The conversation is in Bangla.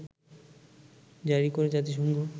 জারি করে জাতিসংঘ